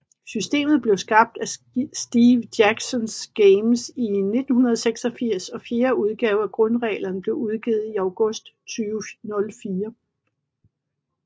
Systemet blev skabt af Steve Jackson Games i 1986 og fjerde udgave af grundreglerne blev udgivet i August 2004